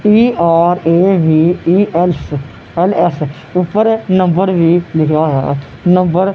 ਟੀ_ਆਰ_ਏ_ਵੀ_ਈ_ਐੱਫ_ਐਲ_ਐੱਫ ਊਪਰ ਨੰਬਰ ਵੀ ਲਿਖੇਆ ਹੋਇਆ ਨੰਬਰ --